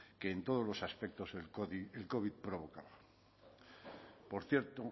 que en todos los aspectos el covid provocaba por cierto